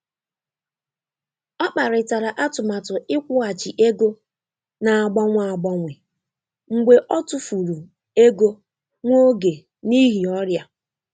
Ọ kparịtara atụmatụ ịkwụghachi ego na-agbanwe agbanwe mgbe ọ tụfuru ego nwa oge n'ihi ọrịa.